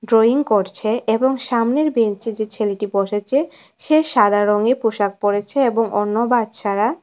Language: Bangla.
ড্রইং করছে এবং সামনের বেঞ্চে যে ছেলেটি বসেছে সে সাদা রংয়ের পোশাক পরেছে এবং অন্য বাচ্চারা--